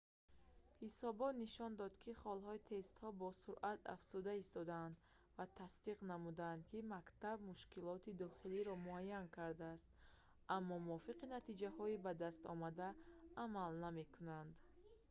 ҳисобот нишон дод ки холҳои тестҳо босуръат афзуда истодаанд ва тасдиқ намуданд ки мактаб мушкилоти дохилиро муайян кардааст аммо мувофиқи натиҷаҳои ба дастомада амал намекунад